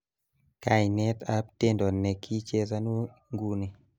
kainet ab tendo ni kichezanu nguni